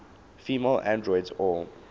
female androids or